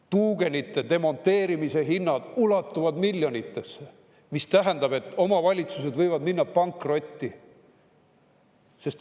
Tuugenite demonteerimise hinnad ulatuvad miljonitesse, mis tähendab, et omavalitsused võivad minna pankrotti.